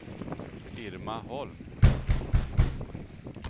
Irma Holm